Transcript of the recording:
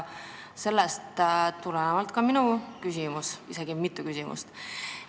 Sellest tuleneb ka minu küsimus, isegi mitu küsimust.